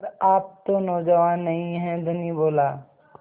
पर आप तो नौजवान नहीं हैं धनी बोला